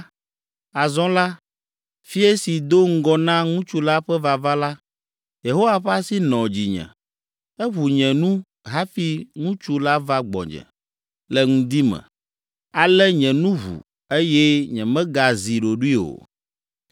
Azɔ la, fiẽ si do ŋgɔ na ŋutsu la ƒe vava la, Yehowa ƒe asi nɔ dzinye, eʋu nye nu hafi ŋutsu la va gbɔnye le ŋdi me. Ale nye nu ʋu, eye nyemegazi ɖoɖoe o.